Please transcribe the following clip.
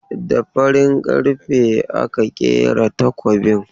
Da farin karfe aka kera takobin.